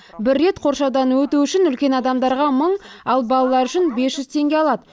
бір рет қоршаудан өту үшін үлкен адамдарға мың ал балалар үшін бес жүз теңге алады